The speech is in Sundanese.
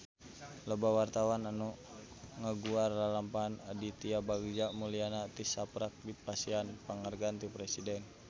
Loba wartawan anu ngaguar lalampahan Aditya Bagja Mulyana tisaprak dipasihan panghargaan ti Presiden